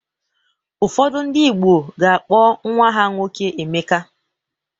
Ụfọdụ ndị Igbo ga-akpọ nnwa ha nwoke Emeka.